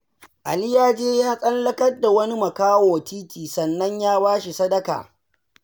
Ali ya je ya tsallakar da wani makaho titi, sannan ya ba shi sadaka.